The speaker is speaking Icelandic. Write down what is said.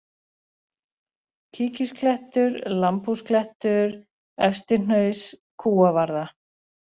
Kíkisklettur, Lambhúsklettur, Efstihnaus, Kúavarða